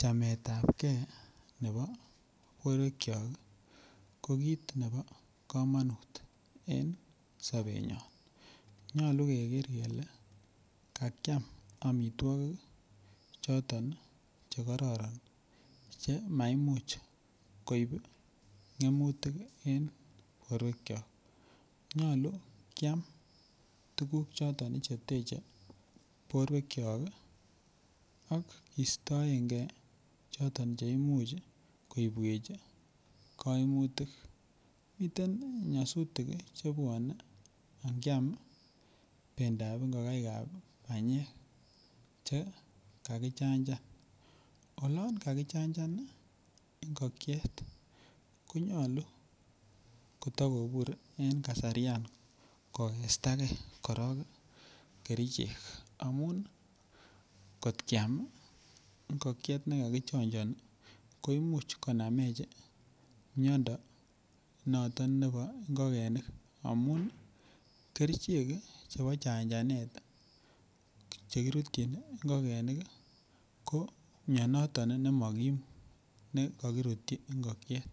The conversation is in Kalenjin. Chameetapgei nebo borwekyok ko kit nebo komonut en sobenyon keger kele kakiam amitwogik choton Che kororon Che maimuch koib ngemutik en borwekyok nyolu kiam tuguk choton Che teche borwekyok ak kostoenge choton Che Imuch koibwech kaimutik miten nyasutik chebwone angiam bendap ingokaik ab banyek Che kakichanjan olon kakichanjan ngokiet ko nyolu kotakobur en kasaryan kogesta korok kerichek amun kot kiam ngokiet nekokichanjani koimuch konamech miando noton nebo ngokenik amun kerichek chebo chanjanet Che kirutyin ngokenik ko mianito Nemokim ne kagirutyi ngokiet